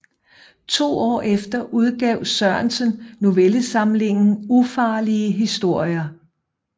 To år efter udgav Sørensen novellesamlingen Ufarlige historier